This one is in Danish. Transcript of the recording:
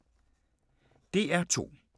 DR2